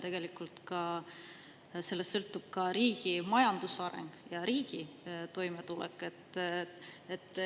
Sellest sõltub tegelikult ka riigi majanduse areng ja riigi toimetulek.